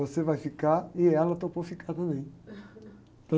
Você vai ficar e ela topou ficar também.